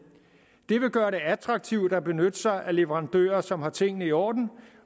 det vil gøre det attraktivt at benytte sig af leverandører som har tingene i orden